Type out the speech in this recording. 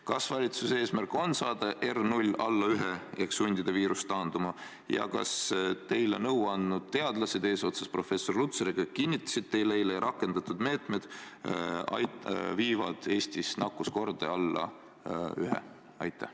Kas valitsuse eesmärk on saada R0 alla 1 ehk sundida viirus taanduma ja kas teile nõu andnud teadlased eesotsas professor Lutsariga kinnitasid teile eile, et rakendatud meetmed viivad Eestis nakkuskordaja alla 1?